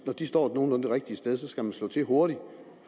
når de står nogenlunde det rigtige sted skal man slå til hurtigt